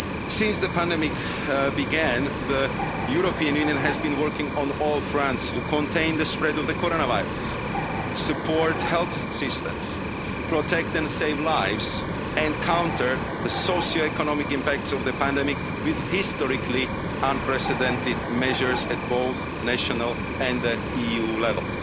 globally. Since the pandemic began, the European Union has been working on all fronts to contain the spread of the coronavirus, support health systems, protect and save lives, and counter the socioeconomic impacts of the pandemic, with historically unprecedented measures at both national and